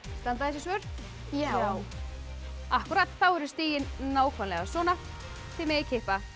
standa þessi svör já akkúrat þá eru stigin nákvæmlega svona þið megið kippa í